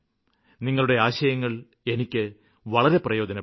നിങ്ങളുടെ ആശയങ്ങള് എനിക്ക് വളരെ പ്രയോജനപ്പെടും